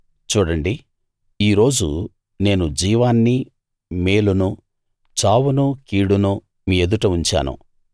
చూడండి ఈరోజు నేను జీవాన్నీ మేలునూ చావునూ కీడునూ మీ ఎదుట ఉంచాను